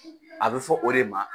A bɛ fɔ o de ma